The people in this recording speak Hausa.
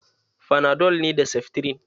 Fanadol ne da seftirin.